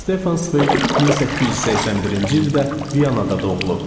Stefan Sveq 1881-ci ildə Vyanada doğulub.